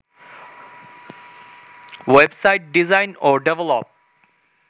web site design ও develop